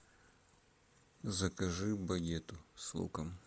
закажи багет с луком